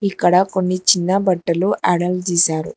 ఇక్కడ కొన్ని చిన్న బట్టలు ఎడల్ తీశారు.